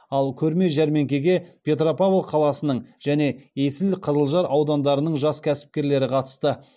ал көрме жәрмеңкеге петропавл қаласының және есіл қызылжар аудандарының жас кәсіпкерлері қатысты